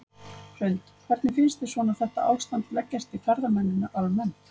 Hrund: Hvernig finnst þér svona þetta ástand leggjast í ferðamennina almennt?